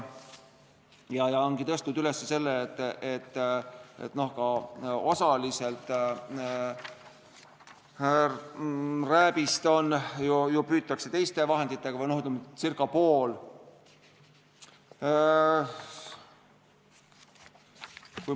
Nad ongi tõstnud üles küsimuse, et osaliselt ka rääbist ju püütakse teiste vahenditega, ca pool.